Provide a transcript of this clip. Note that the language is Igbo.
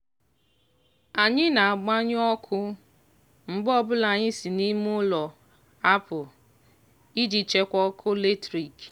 anyị na-agbanyụ ọkụ mgbe ọbụla anyị si n'ime ụlọ apụ iji chekwaa ọkụ latrik.